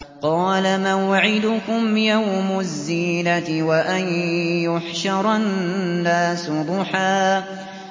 قَالَ مَوْعِدُكُمْ يَوْمُ الزِّينَةِ وَأَن يُحْشَرَ النَّاسُ ضُحًى